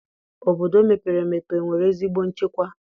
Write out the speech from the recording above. Obodo mepere emepe enwere ezigbo nchekwa?